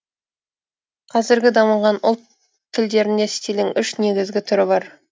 казіргі дамыған ұлт тілдерінде стильдің үш негізгі түрі бар